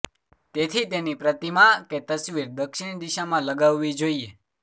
તેથી તેની પ્રતિમા કે તસવીર દક્ષિણ દિશામાં લગાવવી જોઈએ